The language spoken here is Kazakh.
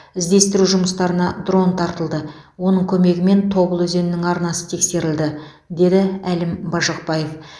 іздестіру жұмыстарына дрон тартылды оның көмегімен тобыл өзенінің арнасы тексерілді деді әлім бажықбаев